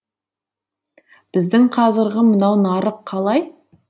біздің қазіргі мынау нарық қалай